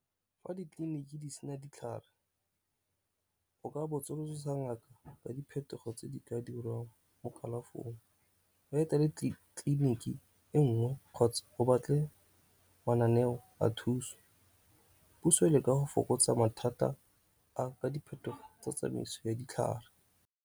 Fa ditleliniki di sena ditlhare o ka botsolososa ngaka ka diphetogo tse di ka dirwang mo kalafong. O etele tleliniki e nngwe kgotsa o batle mananeo a thuso. Puso e leka go fokotsa mathata a ka diphetogo tsa tsamaiso ya ditlhare.